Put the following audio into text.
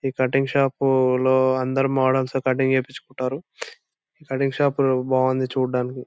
ఈ cutting shop లో అందరూ మోడల్స్ కటింగ్ చేపించుకుంటారు. కటింగ్ షాప్ బాగుంది చూడటానికి.